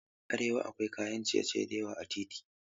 A arewa akwai kayan ciye-ciye da yawa a titi.